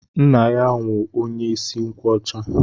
Nna ya wụ onye isi nkwọcha.